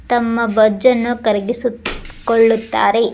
ತಮ್ಮ ಬೊಜ್ಜನ್ನು ಕರಿಗಿಸುತ್ ಕೊಳ್ಳುತ್ತಾರೆ.